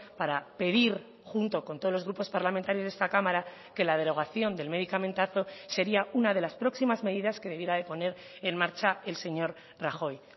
para pedir junto con todos los grupos parlamentarios de esta cámara que la derogación del medicamentazo sería una de las próximas medidas que debiera de poner en marcha el señor rajoy